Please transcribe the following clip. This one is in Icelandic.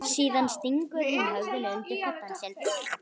Síðan stingur hún höfðinu undir koddann sinn.